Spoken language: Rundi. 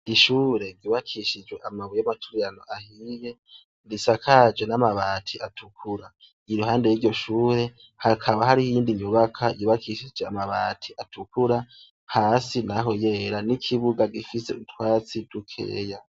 Ishure ryubakishijwe namabuye yamaturirano ahiye risakajwe namabati atukura iruhande yiryo shure hakaba hari inyubakwa isakajwe namabati atukura hasi naho yera nikibuga gifise utwatsi dukeya